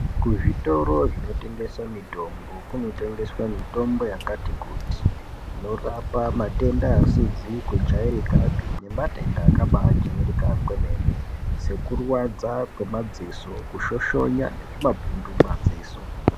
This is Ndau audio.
Kuzvitoro zvinotengese mitombo kunotengeswa mitombo yakati kuti. Inorapa matenda asizi kujairikapi nematenda akabaajairika kwemene sekurwadza kwemadziso, kushoshonya nezvimapundu mumadziso.